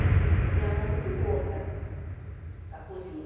A gente tem uma mão muito boa para para a cozinha.